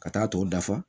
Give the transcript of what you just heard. Ka taa tɔw dafa